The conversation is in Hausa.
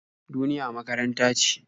Duniya makaranta ce.